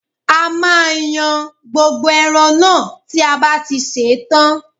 A máa yan gbogbo ẹran náà tí a bá ti ṣe tán